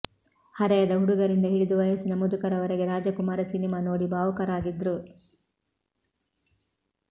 ಹರೆಯದ ಹುಡುಗರಿಂದ ಹಿಡಿದು ವಯಸ್ಸಿನ ಮುದುಕರವರೆಗೆ ರಾಜಕುಮಾರ ಸಿನಿಮಾ ನೋಡಿ ಭಾವುಕರಾಗಿದ್ರು